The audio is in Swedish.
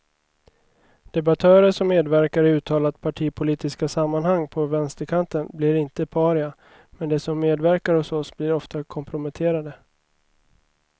Debattörer som medverkar i uttalat partipolitiska sammanhang på vänsterkanten blir inte paria, men de som medverkar hos oss blir ofta komprometterade.